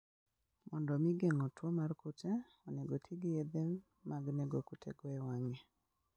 Mondo omi geng'o tuwo mar kute, onego oti gi yedhe mag nego kutego e wang'e.